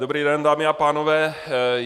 Dobrý den, dámy a pánové.